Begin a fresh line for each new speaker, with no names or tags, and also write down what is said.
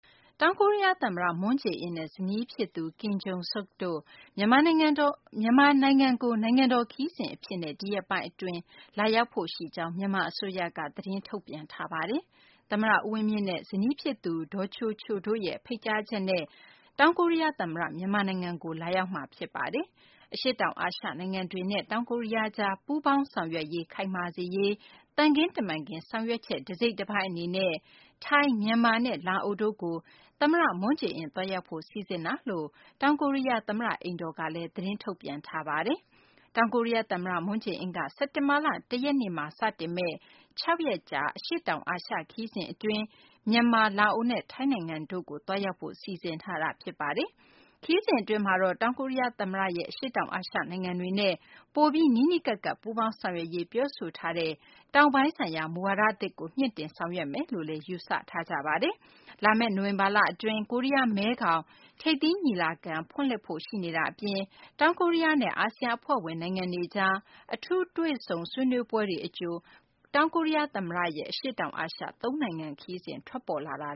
တောင်ကိုရီးယားသမ္မတ Moon Jae-in နဲ့ ဇနီးဖြစ်သူ Kim Jung-sook တို့ မြန်မာနိုင်ငံကို နိုင်ငံတော် ခရီးစဉ်အဖြစ် ဒီရက်ပိုင်းအတွင်း လာရောက်ဖို့ရှိကြောင်း မြန်မာအစိုးရက သတင်းထုတ်ပြန်ပါတယ်။ သမ္မတ ဦးဝင်းမြင့်နဲ့ ဇနီးဖြစ်သူ ဒေါ်ချိုချိုတို့ ဖိတ်ကြားချက်နဲ့ တောင်ကိုရီးယားသမ္မတ မြန်မာနိုင်ငံကို လာရောက်တာ ဖြစ်ပါတယ်။ အရှေ့တောင်အာရှနိုင်ငံတွေနဲ့ တောင်ကိုရီးယားကြား ပူးပေါင်းဆောင်ရွက်မှု ခိုင်မာစေရေး သံခင်းတမန်ခင်း ဆောင်ရွက်ချက် တစိတ်တပိုင်း အနေနဲ့ ထိုင်း၊ မြန်မာနဲ့ လာအိုတို့ကို သမ္မတ Moon Jae-in သွားရောက်ဖို့ စီစဉ်တာလို့ တောင်ကိုရီးယား သမ္မတအိမ်တော်ကလည်း သတင်းထုတ်ပြန်ထားပါတယ်။ တောင်ကိုရီးယား သမ္မတ Moon Jae- in က စက်တင်ဘာလ ၁ ရက်နေ့မှာ စတင်မယ့် ၆ ရက် အရှေ့တောင် အာရှ ခရီးစဉ်အတွင်း မြန်မာ၊ လာအိုနဲ့ ထိုင်းနိုင်ငံတို့ကို သွားရောက်မှာ ဖြစ်ပါတယ်။ ခရီးစဉ်အတွင်းမှာတော့ တောင်ကိုရီးယားသမ္မတ Moon Jae-in ရဲ့ အရှေ့တောင်အာရှ နိုင်ငံတွေနဲ့ ပိုပြီး နီးနီးကပ်ကပ် ပူးပေါင်းဆောင်ရွက်ရေး ပြောဆိုထားတဲ့ တောင်ပိုင်းဆိုင်ရာ မူဝါဒသစ်ကို မြှင့်တင် ဆောင်ရွက်မယ်လို့လည်း ယူဆထားကြပါတယ်။ လာမယ့် နိုဝင်ဘာလအတွင်း ကိုရီးယား-မဲခေါင် ထိပ်သီးညီလာခံ ဖွင့်လှစ်ဖို့ရှိနေတာ အပြင် တောင်ကိုရီးယားနဲ့ အာဆီယံအဖွဲ့ဝင် နိုင်ငံတွေကြား အထူးတွေ့ဆုံ ဆွေးနွေးပွဲတွေ အကြို တောင်ကိုရီးယားသမ္မတရဲ့ အရှေ့တောင်အာရှ သုံးနိုင်ငံ ခရီးစဉ် ထွက်ပေါ်လာတာ